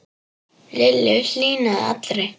Lillu hlýnaði allri.